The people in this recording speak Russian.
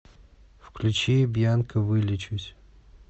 включи бьянка вылечусь